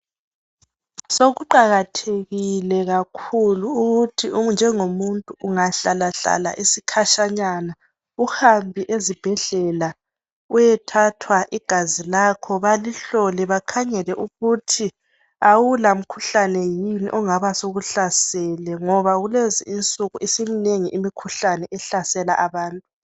Sokuqakathekile kakhulu ukuthi njengomuntu ungahlalahlala isikhatshanyana uhambe ezibhedlela uyethathwa igazi lakho balihlole bakhangele ukuthi awula mkhuhlane yini ongabe usukuhlaselile ngoba kulezi insiku simnengi imkhuhlane ehlalesa abantu.